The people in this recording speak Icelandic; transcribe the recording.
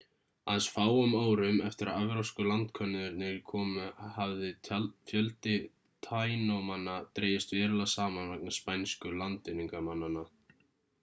aðeins fáum árum eftir að evrópsku landkönnuðurnir komu hafði fjöldi tainomanna dregist verulega saman vegna spænsku landvinningamannanna